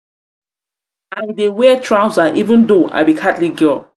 i dey wear dey wear trouser even though i be catholic girl.